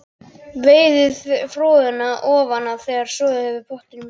Veiðið froðuna ofan af þegar soðið hefur í pottinum smástund.